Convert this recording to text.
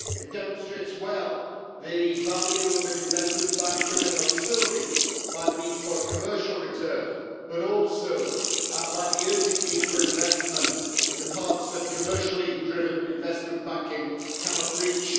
It demonstrates well the value of an investment bank driven not solely by the need for commercial return but also by the urgent need for investment in the parts that commercially driven investment banking cannot reach.